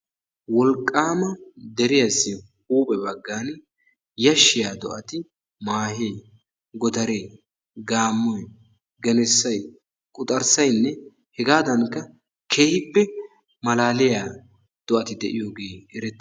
Wolqqaama deriyassi huuphe baggan yashshiya do'ati maahe, godaree, gaammoy, genessay, quxarissaynne hegadankka keehippe malaaliya do'ati de'iyogee erettees.